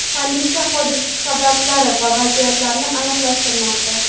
Politsiya hodisa sabablari va vaziyatlarini aniqlashtirmoqda.